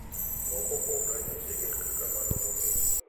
Moko kuom ranyisi gin kaka maluwogi .